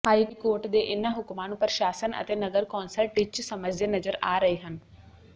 high court ਦੇ ਇਨ੍ਹਾਂ ਹੁਕਮਾਂ ਨੂੰ ਪ੍ਰਸ਼ਾਸਨ ਅਤੇ ਨਗਰ ਕੌਂਸਲ ਟਿੱਚ ਸਮਝਦੇ ਨਜ਼ਰ ਆ ਰਹੇ ਹਨ